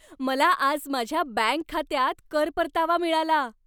मला आज माझ्या बँक खात्यात कर परतावा मिळाला.